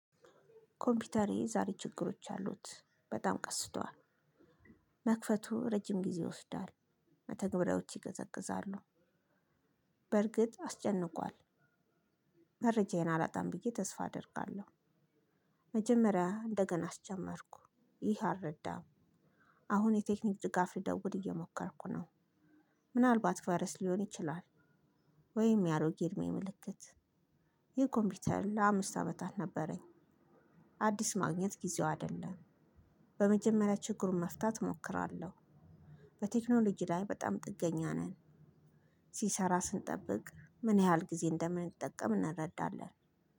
ኮምፒውተሬ ዛሬ ችግሮች አሉት በጣም ቀስቷል መክፈቱ ረጅም ጊዜ ይወስዳል መተግብሪያዎች ይገዘግዛሉ። በርግጥ አስጨንቋል። መረጃዬን አላጣም ብዬ ተስፋ አደርጋለሁ። መጀመርያ እደገና አስጀመርኩ ይህ አረዳም። አሁን የቴክኒክ ድጋፍ ልደውድ እየሞከርኩ ነው። ምናልባት ቫረስ ሊሆን ይችላል። ወይም የአሮጌ እድሜ ምልክት። ይህ ኮምፒውተር ለአምስት አመታት ነበረኝ። አዲስ ማግኘት ጊዜው አይደለም። በመጀመሪያ ችግሩን መፍታት እሞክራለሁ። በቴክኖሎጂ ላይ በጣም ጥገኛ ነን። ሲሰራ ስንጠብቅ ምን ያህል ጊዜ እንደምንጠቀም እንረዳለን።